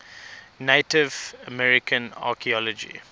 native american archeology